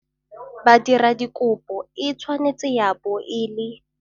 Badiradikopo e tshwanetse ya bo e le -